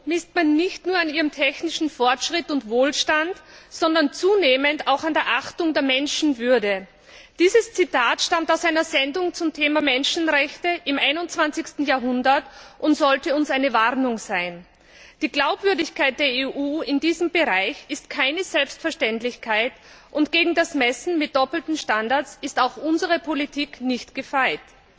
Frau Präsidentin! Eine Zivilisation misst man nicht nur an ihrem technischen Fortschritt und Wohlstand, sondern zunehmend auch an der Achtung der Menschenwürde. Dieses Zitat stammt aus einer Sendung zum Thema Menschenrechte im 21. Jahrhundert und sollte uns eine Warnung sein. Die Glaubwürdigkeit der EU in diesem Bereich ist keine Selbstverständlichkeit, und gegen das Messen mit doppelten Standards ist auch unsere Politik nicht gefeit.